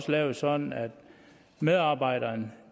lavet sådan at medarbejderne